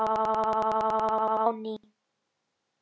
á ný.